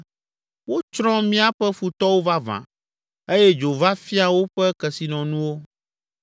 ‘Wotsrɔ̃ míaƒe futɔwo vavã eye dzo va fia woƒe kesinɔnuwo.’